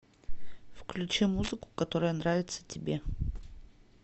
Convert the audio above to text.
включи музыку которая нравится тебе